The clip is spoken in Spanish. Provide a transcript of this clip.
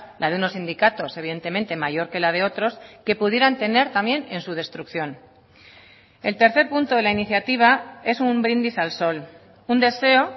la de unos sindicatos evidentemente mayor que la de otros que pudieran tener también en su destrucción el tercer punto de la iniciativa es un brindis al sol un deseo